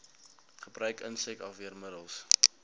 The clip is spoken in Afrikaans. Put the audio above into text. gebruik insek afweermiddels